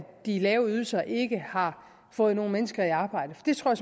de lave ydelser ikke har fået nogen mennesker i arbejde det tror